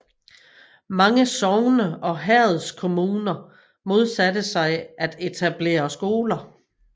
Mange sogne og herredskommuner modsatte sig at etablere skoler